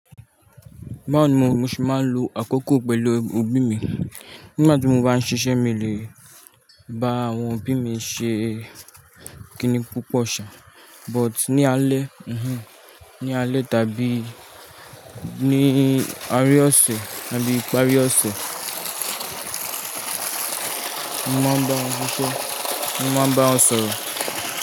Báwo ni mo se máa ń lo àkókò pèlú òbí mi nígbà tí mo bá ń ṣiṣẹ́, mi lè bá àwọn òbí mi ṣe kiní púpọ̀ ṣà, but ní alẹ́, ní alẹ́ tàbí ní aré ọ̀sẹ̀ tàbí ìparí ọ̀sẹ̀, mo máa ń bá wọn ṣọ̀rọ̀.